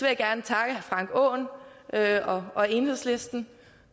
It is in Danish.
jeg gerne takke herre frank og enhedslisten